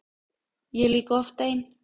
Ég er líka oft ein.